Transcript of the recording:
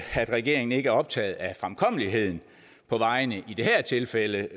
regeringen ikke er optaget af fremkommeligheden på vejene i det her tilfælde